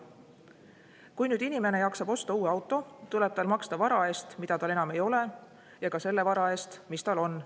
Kui nüüd inimene jaksab osta uue auto, tuleb tal maksta vara eest, mida tal enam ei ole, ja ka selle vara eest, mis tal on.